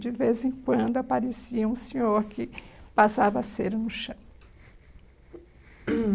De vez em quando aparecia um senhor que passava a cera no chão.